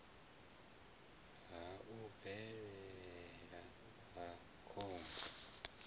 ha u bvelela ha khombo